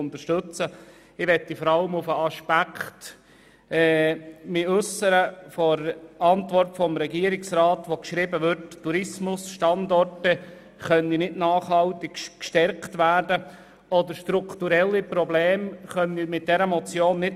Ich weise vor allem auf den Aspekt aus der Antwort des Regierungsrats hin, wonach mit dieser Motion Tourismusstandorte nicht nachhaltig gestärkt oder strukturelle Probleme beseitigt werden können.